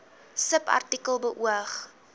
subartikel beoog